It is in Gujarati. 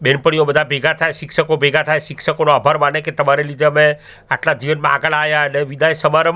બેનપણીઓ બધા ભેગા થાય શિક્ષકો ભેગા થાય શિક્ષકોનો આભાર માને કે તમારા લીધે અમે આટલા જીવનમાં આગળ આયા ને વિધાઈ સમારંભ--